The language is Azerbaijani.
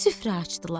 Süfrə açdılar.